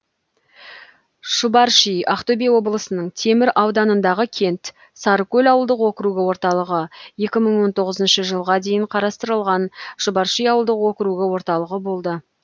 шұбарши ақтөбе облысының темір ауданындағы кент сарыкөл ауылдық округі орталығы екі мың он тотғызыншы жылға дейін қысқартылған шұбарши ауылдық округі орталығы болды